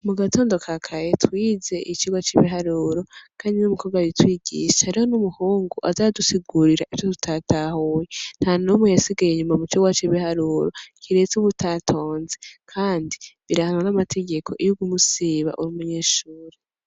Mu gatondo kakare twize icirwa c'ibiharuro kandi n'umukobwa abitwigisha hariho n'umuhungu aza aradusigurira ivyo tutatahuye ntanumwe yasigaye inyuma mu cirwa c'ibiharuro kiretse uwutatonze kandi birahanwa n'amategeko iyo uguma usiba uri umunyeshuri.